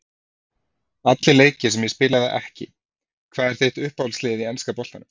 Allir leikir sem ég spilaði ekki Hvað er þitt uppáhalds lið í enska boltanum?